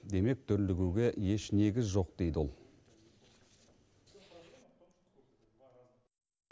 демек дүрлігуге еш негіз жоқ дейді ол